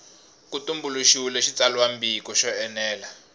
ku tumbuluxiwile xitsalwambiko xo enela